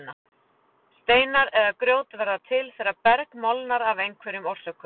Steinar eða grjót verða til þegar berg molnar af einhverjum orsökum.